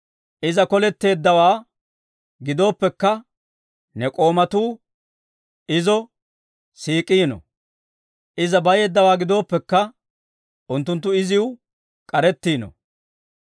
Iza koletteeddawaa gidooppekka, ne k'oomatuu izo siik'iino. Iza bayeeddawaa gidooppekka, unttunttu iziw k'arettiino.